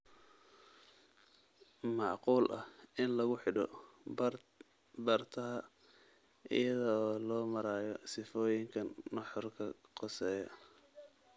Macquul ah in lagu xidho bartaha iyada oo loo marayo sifooyinkan nuxurka khuseeya